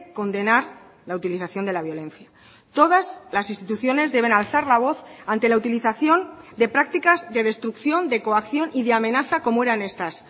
condenar la utilización de la violencia todas las instituciones deben alzar la voz ante la utilización de prácticas de destrucción de coacción y de amenaza como eran estas